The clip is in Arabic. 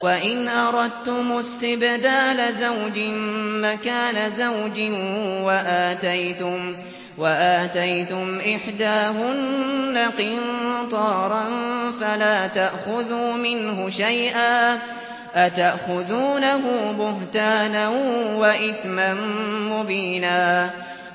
وَإِنْ أَرَدتُّمُ اسْتِبْدَالَ زَوْجٍ مَّكَانَ زَوْجٍ وَآتَيْتُمْ إِحْدَاهُنَّ قِنطَارًا فَلَا تَأْخُذُوا مِنْهُ شَيْئًا ۚ أَتَأْخُذُونَهُ بُهْتَانًا وَإِثْمًا مُّبِينًا